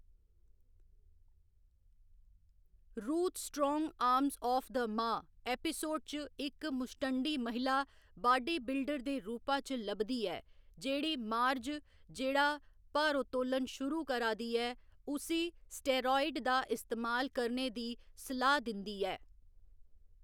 Ruth strong arms of the ma episode च इक मुस्टंडी महिला बाड्डी बिल्डर दे रूपा च लभदी ऐ, जेह्‌‌ड़ी मार्ज जेह्‌‌ड़ा भारोत्तोलन शुरू करा दी ऐ उसी स्टेरायड दा इस्तेमाल करने दी सलाह्‌‌ दिंदी ऐ।